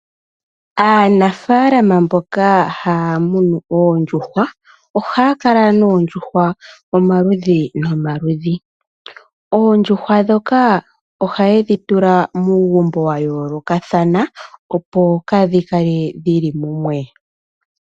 Anafaalama mboka haya munu oondjuhwa ohaya kala noondjuhwa omaludhi nomaludhi, oondjuhwa dhoka ohaye dhitula muugumbo wa yoolokathana opo kadhi kale dhili mumwe.